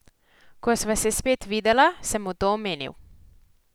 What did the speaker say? Ko sva se spet videla, sem mu to omenil.